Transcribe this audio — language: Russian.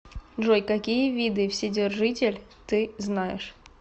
джой какие виды вседержитель ты знаешь